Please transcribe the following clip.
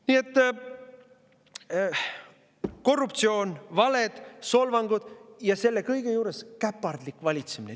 Nii et korruptsioon, valed, solvangud ja selle kõige juures käpardlik valitsemine.